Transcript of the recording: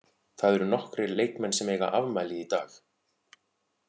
Það eru nokkrir leikmenn sem eiga afmæli í dag.